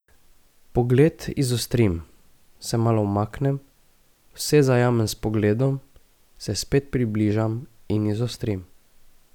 Pogled izostrim, se malo umaknem, vse zajamem s pogledom, se spet približam in izostrim.